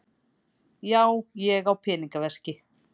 Já, ég á pennaveski.